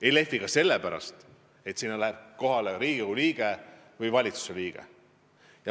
Ei lehvi ka sellepärast, et sinna läheb kohale Riigikogu liige või valitsuse liige.